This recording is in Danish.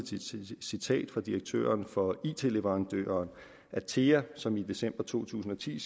citat fra direktøren for it leverandøren atea som i december to tusind og ti